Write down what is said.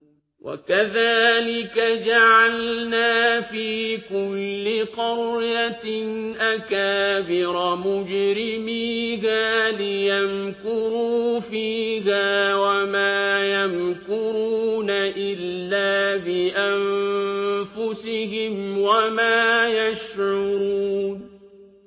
وَكَذَٰلِكَ جَعَلْنَا فِي كُلِّ قَرْيَةٍ أَكَابِرَ مُجْرِمِيهَا لِيَمْكُرُوا فِيهَا ۖ وَمَا يَمْكُرُونَ إِلَّا بِأَنفُسِهِمْ وَمَا يَشْعُرُونَ